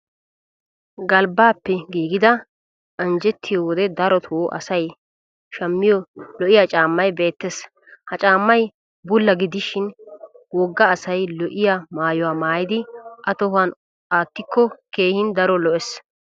Galbbaappe giigida anjjettiyo wode darotoo asay shammiyo lo'iya caammay beettes. Ha caammay bulla gidishin wogga asay lo'iy maayuwa maayidi a tohuwan aattikko keehin daro lo'es.